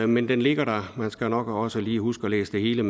men den ligger der og man skal nok også lige huske at læse det hele